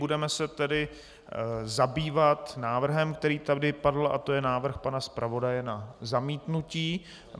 Budeme se tedy zabývat návrhem, který tady padl, a to je návrh pana zpravodaje na zamítnutí.